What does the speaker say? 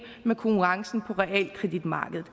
med konkurrencen på realkreditmarkedet